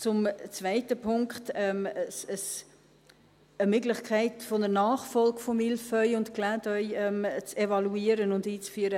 Zum zweiten Punkt, eine Möglichkeit einer Nachfolge von «Mille feuilles» und «Clin d’œil» zu evaluieren und einzuführen: